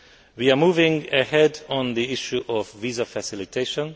We are moving ahead on the issue of visa facilitation.